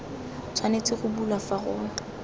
tshwanetse go bulwa fa go